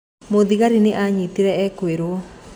Mũthigari nĩ aranyitire ekũĩrwo.